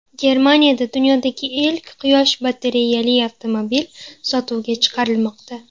Germaniyada dunyodagi ilk quyosh batareyali avtomobil sotuvga chiqarilmoqda .